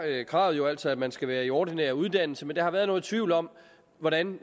kravet jo altså at man skal være i ordinær uddannelse men der har været nogen tvivl om hvordan